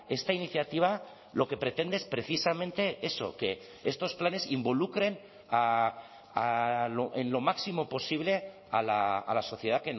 esta iniciativa lo que pretende es precisamente eso que estos planes involucren en lo máximo posible a la sociedad